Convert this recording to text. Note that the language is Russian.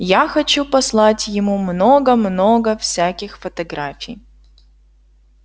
я хочу послать ему много-много всяких фотографий